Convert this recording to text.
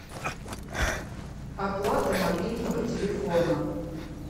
оплата мобильного телефона